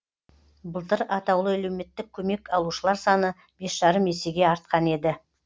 былтыр атаулы әлеуметтік көмек алушылар саны бес жарым есеге артқан еді